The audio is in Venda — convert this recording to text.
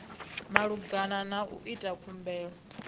malugana na u ita khumbelo